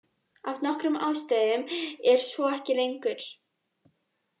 Af nokkrum ástæðum er svo ekki lengur.